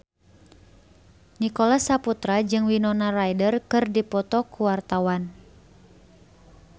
Nicholas Saputra jeung Winona Ryder keur dipoto ku wartawan